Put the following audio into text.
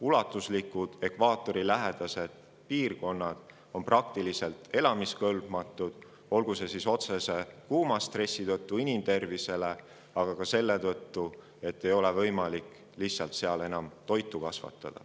Ulatuslikud ekvaatorilähedased piirkonnad on praktiliselt elamiskõlbmatud, olgu see siis otsese kuumastressi tõttu inimtervisele, aga ka selle tõttu, et seal ei ole enam lihtsalt võimalik toitu kasvatada.